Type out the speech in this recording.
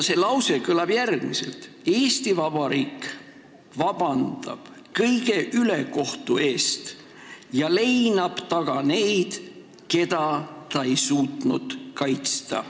See lause kõlab järgmiselt: "Eesti Vabariik vabandab kõige ülekohtu eest ja leinab taga neid, keda ta ei suutnud kaitsta.